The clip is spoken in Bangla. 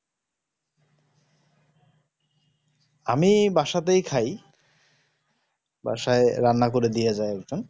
আমি বাসাতেই খাই বাসায়ে রান্না ওরে দিয়ে যায় একজন